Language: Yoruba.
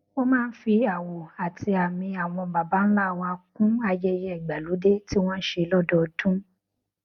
wón máa ń fi àwọn àwò àti àmì àwọn babańlá wọn kún ayẹyẹ ìgbàlódé tí wọn n ṣe lódọọdún